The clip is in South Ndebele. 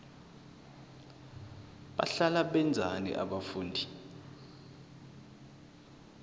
bahlala benzani abafundi